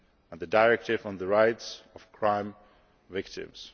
and the Directive on the Rights of Crime Victims.